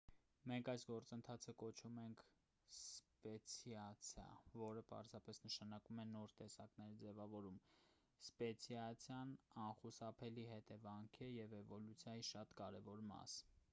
մենք այս գործընթացը կոչում ենք սպեցիացիա որը պարզապես նշանակում է նոր տեսակների ձևավորում սպեցիացիան անխուսափելի հետևանք է և էվոլյուցիայի շատ կարևոր մաս